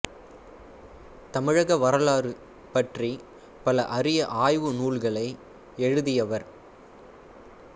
தமிழக வரலாறு பற்றி பல அரிய ஆய்வு நூல்களை எழுதியவர்